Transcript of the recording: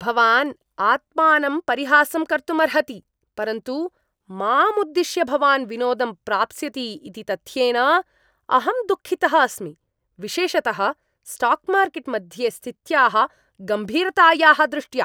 भवान् आत्मानं परिहासं कर्तुमर्हति, परन्तु माम् उद्दिश्य भवान् विनोदं प्राप्स्यति इति तथ्येन अहं दुःखितः अस्मि, विशेषतः स्टाक् मार्केट् मध्ये स्थित्याः गम्भीरतायाः दृष्ट्या।